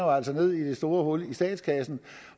ned i det store hul ned i statskassen